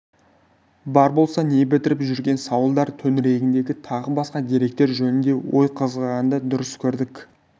бар болса не бітіріп жүрген сауалдар төңірегінде тағы басқа деректер жөнінде ой қозғағанды дұрыс көрдік